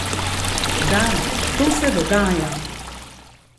Da, to se dogaja.